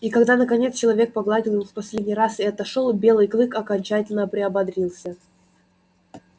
и когда наконец человек погладил его в последний раз и отошёл белый клык окончательно приободрился